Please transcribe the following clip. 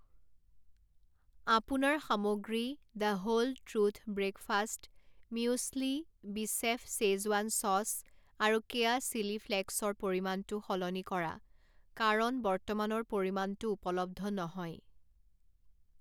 আপোনাৰ সামগ্ৰী the whole truth breakfast muesli বিচেফ শ্বেজৱান চচ আৰু কেয়া চিলি ফ্লেকছৰ পৰিমাণটো সলনি কৰা কাৰণ বৰ্তমানৰ পৰিমাণটো উপলব্ধ নহয়।